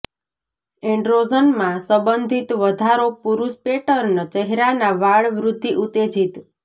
એન્ડ્રોજનમાં સંબંધિત વધારો પુરૂષ પેટર્ન ચહેરાના વાળ વૃદ્ધિ ઉત્તેજિત